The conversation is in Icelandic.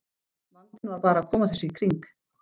Vandinn var bara að koma þessu í kring.